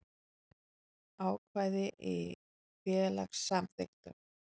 Ákvæði í félagssamþykktum.